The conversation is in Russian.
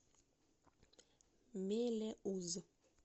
мелеуз